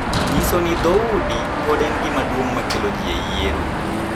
Nyiso ni dhoudi pod en gima duong’ ma kelo ji e yiero,